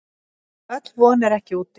Öll von er ekki úti.